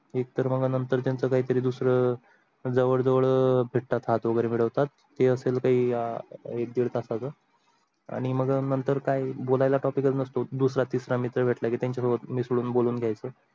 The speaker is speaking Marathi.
एक तर मग नंतर त्यांच काही तरी दुसर जवड जवड भेटतात हात वगेरे मिडवतात जे असेल काही एक दीड तासाच आणि मग नंतर काही बोल्याला काही topic नसतो दूसरा तिसरा मित्र भेटला की त्यांचा सोबत मिसडून बोलून घ्यायच